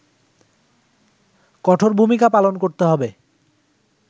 কঠোর ভূমিকা পালন করতে হবে